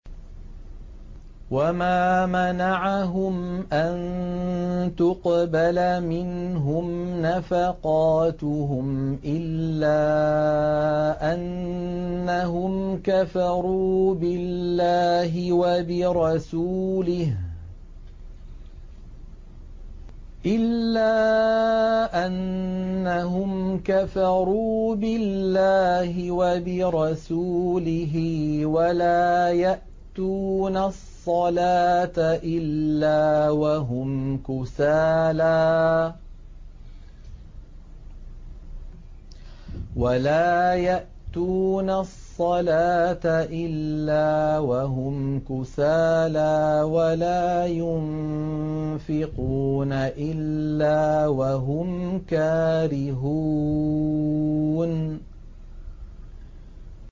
وَمَا مَنَعَهُمْ أَن تُقْبَلَ مِنْهُمْ نَفَقَاتُهُمْ إِلَّا أَنَّهُمْ كَفَرُوا بِاللَّهِ وَبِرَسُولِهِ وَلَا يَأْتُونَ الصَّلَاةَ إِلَّا وَهُمْ كُسَالَىٰ وَلَا يُنفِقُونَ إِلَّا وَهُمْ كَارِهُونَ